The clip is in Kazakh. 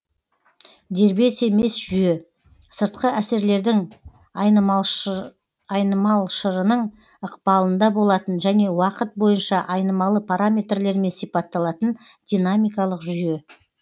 дербес емес жүйе сыртқы әсерлердің айнымалшырының ықпалында болатын және уақыт бойынша айнымалы параметрлермен сипатталатын динамикалық жүйе